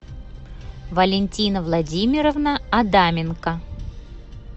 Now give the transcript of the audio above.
валентина владимировна адаменко